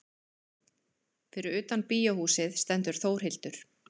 Fyrir utan bíóhúsið stendur Þórhildur.